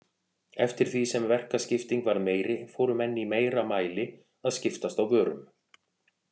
Eftir því sem verkaskipting varð meiri fóru menn í meira mæli að skiptast á vörum.